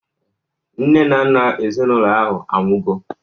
Nne na nna ezinaụlọ ahụ anwụgo